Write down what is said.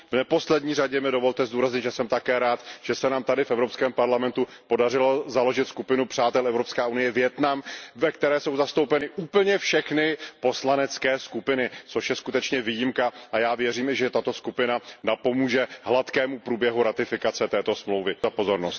V neposlední řadě mi dovolte zdůraznit, že jsem také rád, že se nám tady v Evropském parlamentu podařilo založit skupinu přátel Evropská unie Vietnam, ve které jsou zastoupeny úplně všechny poslanecké skupiny, což je skutečně výjimka, a já věřím, že tato skupina napomůže hladkému průběhu ratifikace této dohody.